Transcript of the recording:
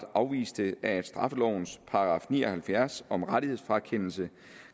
afviste at straffelovens § ni og halvfjerds om rettighedsfrakendelse